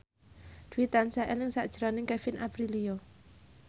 Dwi tansah eling sakjroning Kevin Aprilio